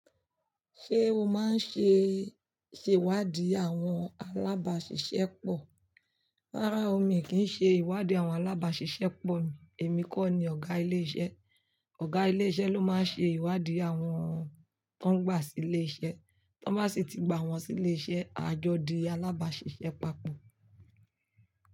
Ṣé o máa ń ṣe, ṣe ìwádìí àwọn alábàáṣiṣẹ́ pọ̀? Rárá o, mi kì í ṣe ìwádìí àwọn alábáṣiṣẹ́ pọ̀ mi. Èmi kọ́ ni ọ̀gá ilé iṣẹ́. Ọ̀gá ilé iṣẹ́ ló máa ń ṣe ìwádìí àwọn tó ń gbà sí ilé iṣẹ́. Tọ́ bá sì ti gba wọ́n sí ilé iṣẹ́, a jọ di alábáṣiṣẹ́ papọ̀.